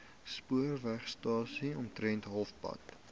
spoorwegstasie omtrent halfpad